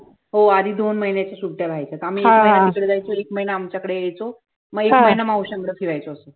हो आधी दोन महिन्याच्या सुट्ट्या राहायच्या, आम्ही एक महिना तिकडे जायचो एक महिना आमच्याकडे यायचो, म एक महिना मावश्यांकडे फिरायचो असं